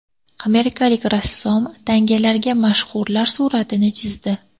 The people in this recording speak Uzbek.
Amerikalik rassom tangalarga mashhurlar suratini chizdi .